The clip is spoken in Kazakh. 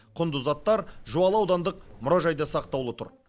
құнды заттар жуалы аудандық мұражайда сақтаулы тұр